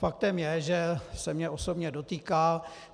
Faktem je, že se mě osobně dotýká.